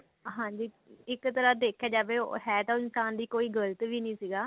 ਹਾਂਜੀ ਇੱਕ ਤਰ੍ਹਾਂ ਦੇਖਿਆ ਜਾਵੇ ਹੈ ਤਾਂ ਇਨਸਾਨ ਦੀ ਕੋਈ ਗਲਤ ਵੀ ਨੀ ਸੀਗਾ